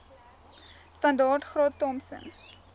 standaard graad thompson